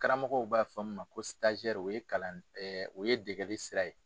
Karamɔgɔw b'a fɔ min ma o ye degeli sira ye.